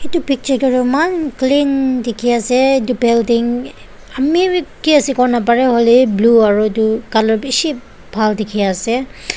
etu picture tae toh eman clean dekhi ase building ami vi kiase kovo naparae blue are colour bishi bhal dekhi ase.